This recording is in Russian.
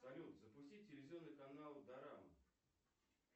салют запусти телевизионный канал дорама